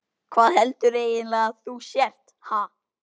Hvað heldurðu eiginlega að þú sért, ha?